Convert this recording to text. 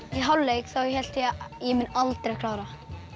í hálfleik þá hélt ég ég mun aldrei klára